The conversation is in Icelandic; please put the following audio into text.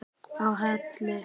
á Hellu.